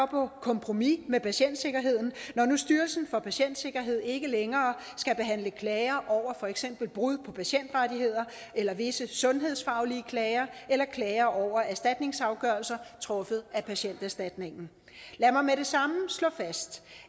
på kompromis med patientsikkerheden når nu styrelsen for patientsikkerhed ikke længere skal behandle klager over for eksempel brud på patientrettigheder eller visse sundhedsfaglige klager eller klager over erstatningsafgørelser truffet af patienterstatningen lad mig med det samme slå fast